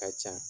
Ka ca